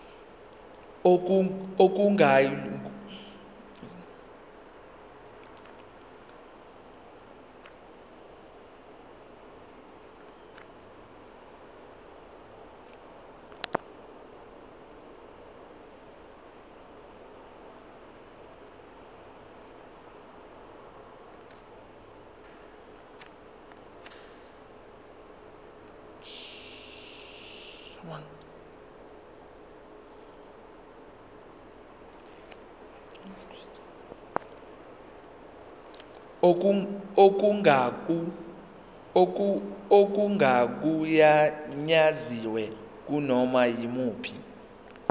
okungagunyaziwe kunoma yimuphi